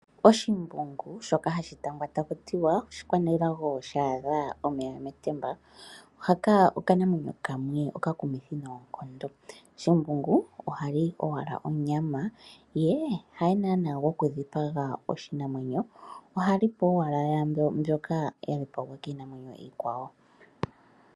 Oshimbungu shoka hashi tangwa taku ti wa oshikwanelago sha adha omeya metemba, haka okanamwenyo kamwe okakumithi noonkondo. Shimbungu oha li owala onyama ye haye naana gwokudhipaga oshinamwenyo ohali po owala yambyoka ya dhipagwa kiinamwenyo iikwawo.